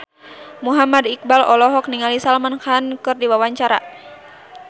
Muhammad Iqbal olohok ningali Salman Khan keur diwawancara